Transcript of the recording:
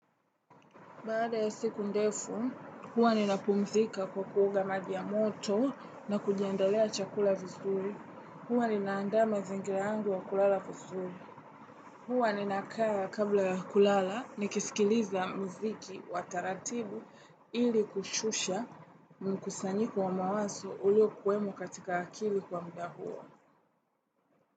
Baada ya siku ndefu, huwa ninapumzika kwa kuoga maji ya moto na kujiandalia chakula vizuri. Huwa nina andaa mazingira yangu ya kulala vizuri. Huwa ninakaa kabla ya kulala nikisikiliza muziki wa taratibu ili kushusha mkusanyiko wa mawazo uliokuwemo katika akili kwa muda huo.